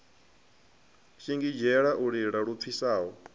shingizhela u lila lu pfisaho